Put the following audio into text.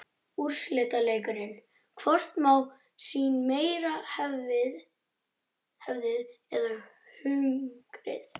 Úrslitaleikur: Hvort má sín meira hefðin eða hungrið?